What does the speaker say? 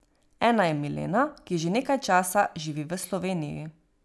Ena je Milena, ki že nekaj časa živi v Sloveniji.